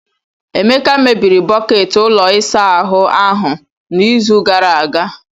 Emeka mebiri bọket ụlọ ịsa ahụ ahụ n'izu gara aga.